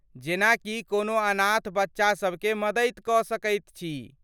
जेना कि कोनो अनाथ बच्चा सभकेँ मदैत क सकैत छी ।